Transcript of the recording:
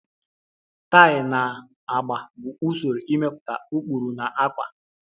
Tayi na agba bụ usoro ịmepụta ụkpụrụ na ákwà